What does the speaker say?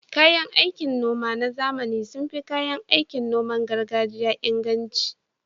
Kayan aikin noma na zamani sun fi kayan aikin noman gargajiya inganci